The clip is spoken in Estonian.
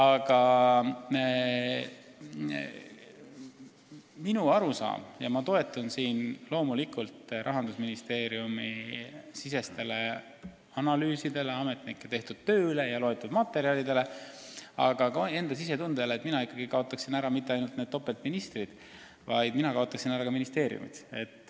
Aga minu arusaam on selline – ma toetun loomulikult Rahandusministeeriumi analüüsidele, ametnike tehtud tööle ja loetud materjalidele, aga ka enda sisetundele –, et tuleks kaotada mitte ainult need topeltministrikohad, vaid ka ministeeriumid.